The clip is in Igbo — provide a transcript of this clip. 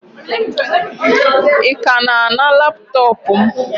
Ị ka na-ana laptọọpụ m?